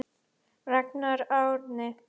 Ragnar Árni.